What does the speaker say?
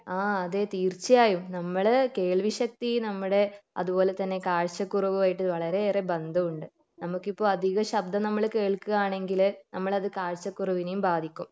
ആ അതെ തീർച്ചയായും നമ്മൾ കേൾവി ശക്തി നമ്മടെ അതുപോലെ തന്നെ കാഴ്ചക്കുറവ് ആയിട്ട് വളരെയേറെ ബന്ധം ഉണ്ട് നമുക്കിപ്പൊ അധിക ശബ്ദം നമ്മൾ കേൾകുകയാണെങ്കിൽ നമ്മളത് കാഴ്ചക്കുറവിനേം ബാധിക്കും